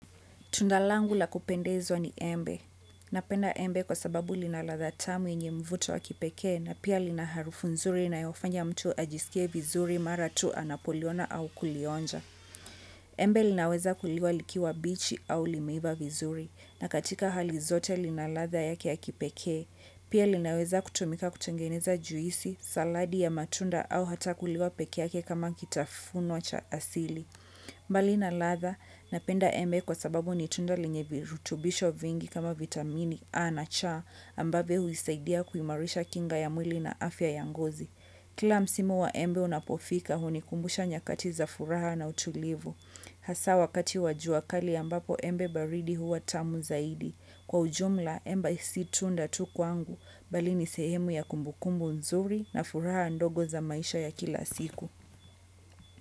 Tunda langu la kupendezwa ni embe. Napenda embe kwa sababu lina ladha tamu yenye mvuto wa kipeke na pia lina harufu nzuri inayofanya mtu ajisike vizuri mara tu anapoliona au kulionja. Embe linaweza kuliwa likiwa bichi au limeiva vizuri na katika hali zote lina ladha yake ya kipeke. Pia linaweza kutumika kutengeneza juisi, saladi ya matunda au hata kuliwa peke yake kama kitafunwa cha asili. Mbali na ladha na penda embe kwa sababu ni tunda lenye virutubisho vingi kama vitamini A na cha ambavyo huisaidia kuimarisha kinga ya mwili na afya ya ngozi. Kila msimu wa embe unapofika hunikumbusha nyakati za furaha na utulivu. Hasa wakati wa jua kali ambapo embe baridi huwa tamu zaidi. Kwa ujumla embe si tunda tu kwangu bali ni sehemu ya kumbukumbu nzuri na furaha ndogo za maisha ya kila siku.